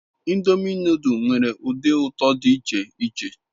Ndomi noduls nwere udi uto di ich-iche